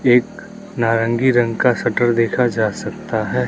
एक नारंगी रंग का शटर देखा जा सकता है।